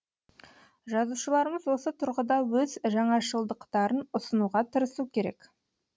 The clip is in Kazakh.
жазушыларымыз осы тұрғыда өз жаңашылдықтарын ұсынуға тырысу керек